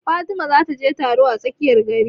Fatima za ta je taro a tsakiyar gari